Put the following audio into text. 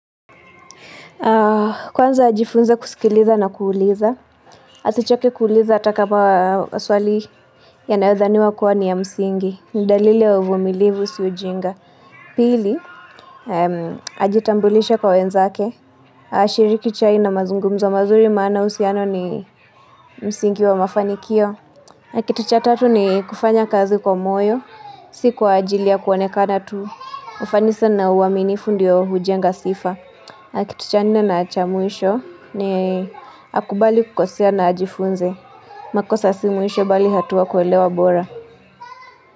Kwanza ajifunze kusikiliza na kuuliza. Asichoke kuuliza atakama swali yanayodhaniwa kuwa ni ya msingi. Ni dalili ya uvumilivu si ujinga. Pili, ajitambulishe kwa wenzake. Shiriki chai na mazungumzo mazuri maana uhusiano ni msingi wa mafanikio. Kitu cha tatu ni kufanya kazi kwa moyo. Si kwa ajili ya kuonekana tu ufanisi na uaminifu ndio ujenga sifa. Kituchanina na achamwisho ni akubali kukosia na ajifunze. Makosa si mwisho bali hatua kuelewa bora.